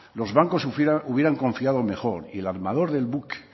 los bancos hubieran confiado mejor y el armador del buque